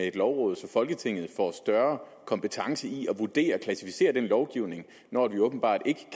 et lovråd så folketinget får større kompetence i at vurdere og klassificere lovgivningen når vi åbenbart ikke